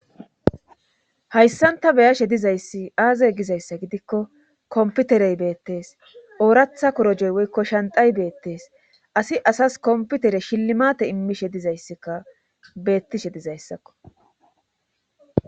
hayssanta beyashe dizayssi aazey gizayssa gidikko komputerey beettees ooratha korojoy woykko shantay beettees asi asas komputere shillimate immishe dizayssikka beettishe dizayssakko